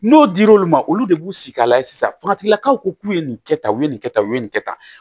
N'o dir'olu ma olu de b'u sigi ka lajɛ sisan faratigilakaw ko k'u ye nin kɛ tan u ye nin kɛ tan u ye nin kɛ tan